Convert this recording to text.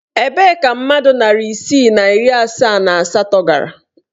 Ebee ka mmadụ narị isii na iri asaa and asatọ gara?